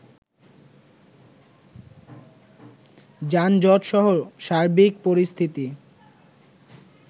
যানজটসহ সার্বিক পরিস্থিতি